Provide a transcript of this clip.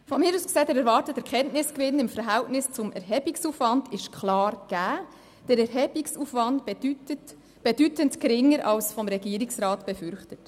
Meines Erachtens ist der erwartete Erkenntnisgewinn im Verhältnis zum Erhebungsaufwand klar gegeben und der Erhebungsaufwand bedeutend geringer als vom Regierungsrat befürchtet.